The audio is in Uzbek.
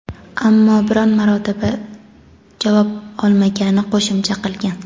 ammo biron marotaba javob olmaganini qo‘shimcha qilgan.